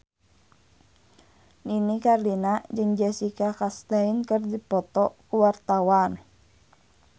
Nini Carlina jeung Jessica Chastain keur dipoto ku wartawan